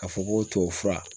Ka fɔ ko tuwawufura